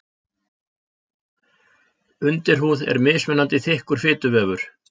Undirhúð er mismunandi þykkur fituvefur.